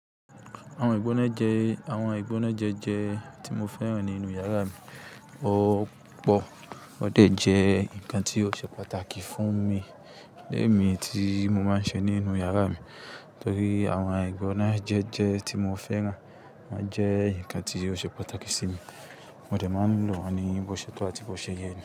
Àwọn ìgbónájẹ̀ẹ́ jẹ́ tí mo fẹ́ràn nínú yàrá mi. Ó pọ̀. Wọ́n dẹ̀ jẹ́ ǹkan tí ó ṣe pàtàkì fún mi le mì tí mo máa ń ṣe nínú yàrá mi. Nítorí àwọn ìgbónájẹ̀ẹ́ jẹ́ tí mo fẹ́ràn, wọ́n jẹ́ ǹkan tí ó ṣe pàtàkì sí mi. Mo dẹ̀ máa ń lò wọ́n ní bo ṣètọ̀ àti bo ṣeyẹ ni.